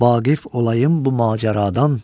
Vaqif olayım bu macəradan.